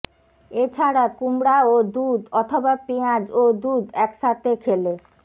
এ ছাড়া কুমড়া ও দুধ অথবা পেঁয়াজ ও দুধ একসাথে খেলে